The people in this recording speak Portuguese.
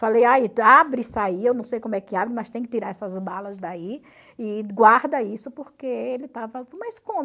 Falei, abre isso aí, eu não sei como é que abre, mas tem que tirar essas balas daí e guarda isso, porque ele estava... Mas como?